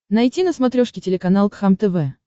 найти на смотрешке телеканал кхлм тв